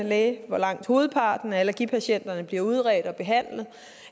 læger hvor langt hovedparten af allergipatienterne bliver udredt og behandlet